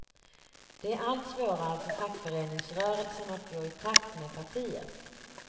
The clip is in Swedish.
Det är allt svårare för fackföreningsrörelsen att gå i takt med partiet.